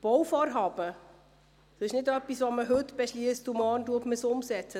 Bauvorhaben werden nicht heute beschlossen und morgen umgesetzt.